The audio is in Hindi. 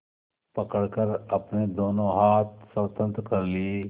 पकड़कर अपने दोनों हाथ स्वतंत्र कर लिए